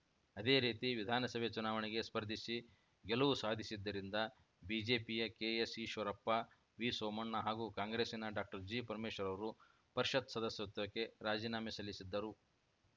ಅದೇ ರೀತಿ ವಿಧಾನಸಭೆ ಚುನಾವಣೆಗೆ ಸ್ಪರ್ಧಿಸಿ ಗೆಲುವು ಸಾಧಿಸಿದ್ದರಿಂದ ಬಿಜೆಪಿಯ ಕೆಎಸ್‌ಈಶ್ವರಪ್ಪ ವಿಸೋಮಣ್ಣ ಹಾಗೂ ಕಾಂಗ್ರೆಸ್ಸಿನ ಡಾಕ್ಟರ್ಜಿಪರಮೇಶ್ವರ್‌ ಅವರು ಪರಿಷತ್‌ ಸದಸ್ಯತ್ವಕ್ಕೆ ರಾಜೀನಾಮೆ ಸಲ್ಲಿಸಿದ್ದರು